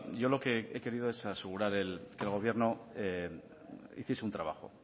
yo lo que he querido es asegurar que el gobierno hiciese un trabajo